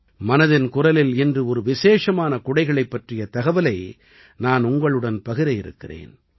மனதின் குரலில் இன்று ஒரு விசேஷமான குடைகளைப் பற்றிய தகவலை நான் உங்களுடன் பகிர இருக்கிறேன்